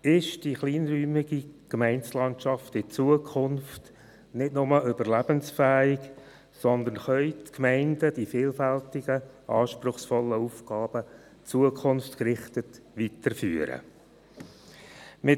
Wird die kleinräumige Gemeindelandschaft in Zukunft nicht nur überlebensfähig sein, sondern werden die Gemeinden die vielfältigen, anspruchsvollen Aufgaben zukunftsgerichtet weiterführen können?